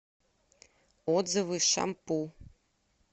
отзывы шампу